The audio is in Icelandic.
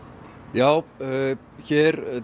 já